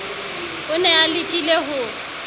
o ne a lekile ho